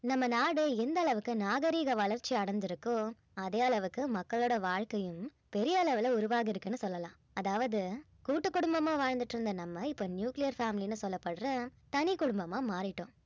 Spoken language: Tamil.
நம்ம நாடு எந்த அளவுக்கு நாகரீக வளர்ச்சி அடைந்திருக்கோ அதே அளவுக்கு மக்களோட வாழ்க்கையும் பெரிய அளவுல உருவாகி இருக்குன்னு சொல்லலாம் அதாவது கூட்டு குடும்பமா வாழ்ந்துகிட்டிருந்த நம்ம இப்ப nuclear family ன்னு சொல்லப்படுற தனி குடும்பமா மாறிட்டோம்